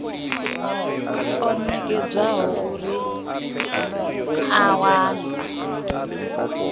o nekedzwaho uri a wane